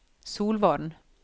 Solvorn